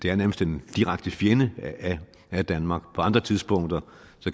er nærmest en direkte fjende af danmark på andre tidspunkter